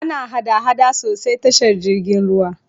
Ana hada-hada sosai tashar jirgin ruwa.